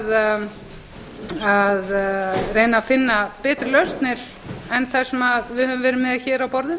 við eigum öll að reyna að finna betri lausnir en þær sem við höfum verið með hér á borðum